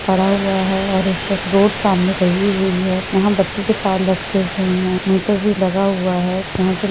पड़ा हुआ है और एक ये रोड सामने बनी हुई है यहाँ बत्ती के तार लटके हुए है मीटर भी लगा हुआ है यहां पर--